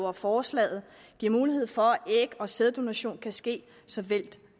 at forslaget giver mulighed for at æg og sæddonation kan ske såvel